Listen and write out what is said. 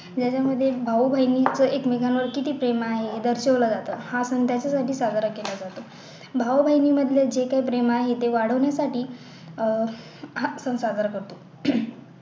ज्याच्या मध्ये भाऊ बहिणीचं एकमेकांवर किती प्रेम आहे हे दर्शिवलं जातं हा सण त्याच्या साठी साजरा केला जातो भाऊ बहिणींमधले जे काही प्रेम आहे ते वाढवण्यासाठी अह हा सण साजरा करतो